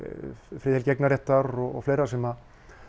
friðhelgi eignarréttar og fleira sem